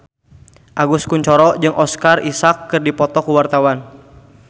Agus Kuncoro jeung Oscar Isaac keur dipoto ku wartawan